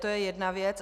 To je jedna věc.